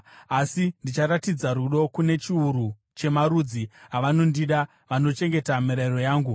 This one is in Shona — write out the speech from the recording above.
asi ndichiratidza rudo kune chiuru chemarudzi avanondida, vanochengeta mirayiro yangu.